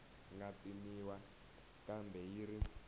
nga pimiwa kambe yi ri